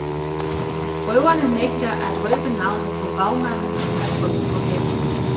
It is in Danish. Røverne nægter at røbe navnet på bagmanden af frygt for hævn.